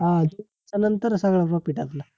नंतर सगळं profit आपला